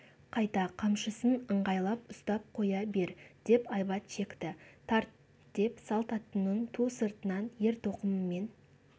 қайта қамшысын ыңғайлап ұстап қоя бер деп айбат шекті тарт деп салт аттының ту сыртынан ер-тоқымымен